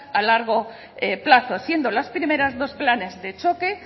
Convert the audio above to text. a largo plazo siendo las primeras dos planes de choque